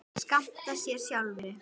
skammta sér sjálfir